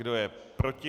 Kdo je proti?